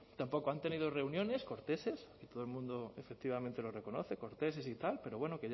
tampoco han tenido reuniones corteses todo el mundo efectivamente lo reconoce corteses y tal pero bueno